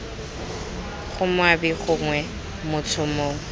bgo moabi gongwe motho mongwe